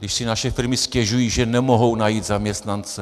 Když si naše firmy stěžují, že nemohou najít zaměstnance.